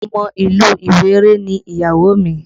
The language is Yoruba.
Ọmọ ìlú Ìwéré ni ìyàwó mi